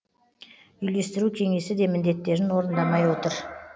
үйлестіру кеңесі де міндеттерін орындамай отыр